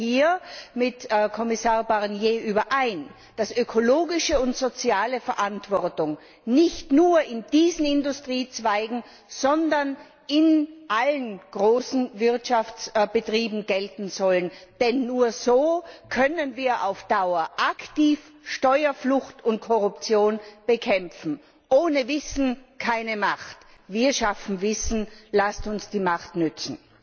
Ich stimme hier mit Kommissar Barnier überein, dass ökologische und soziale Verantwortung nicht nur in diesen Industriezweigen, sondern in allen großen Wirtschaftsbetrieben gelten sollen, denn nur so können wir auf Dauer aktiv Steuerflucht und Korruption bekämpfen. Ohne Wissen keine Macht! Wir schaffen Wissen, lasst uns die Macht nützen!